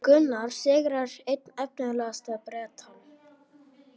Gunnar sigraði einn efnilegasta Bretann